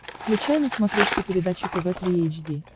включай на смотрешке передачу тв три эйч ди